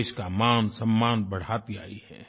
देश का मानसम्मान बढ़ाती आई है